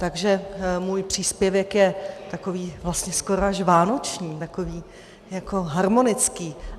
Takže můj příspěvek je takový vlastně skoro až vánoční, takový harmonický.